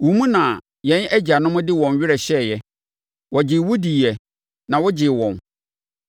Wo mu na yɛn agyanom de wɔn werɛ hyɛeɛ; wɔgyee wo diiɛ, na wogyee wɔn.